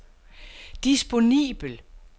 disponibel